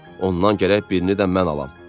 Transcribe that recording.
Ondan gərək birini də mən alam."